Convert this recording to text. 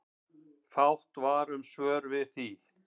Fátt var um svör við því.